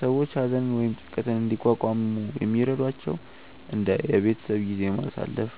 ሰዎች ሀዘንን ወይም ጭንቀትን እንዲቋቋሙ የሚረዷቸው እንደ የቤተሰብ ጊዜ ማሳለፍ፣